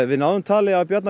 við náðum tali af Bjarna